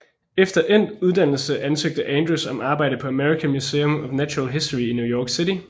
Efter endt uddannelse ansøgte Andrews om arbejde på American Museum of Natural History i New York City